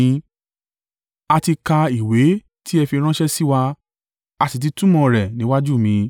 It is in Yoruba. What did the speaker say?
A ti ka ìwé tí ẹ fi ránṣẹ́ sí wa, a sì ti túmọ̀ rẹ̀ níwájú mi.